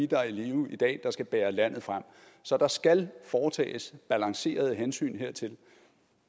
der er i live i dag der skal bære landet frem så der skal foretages balancerede hensyn hertil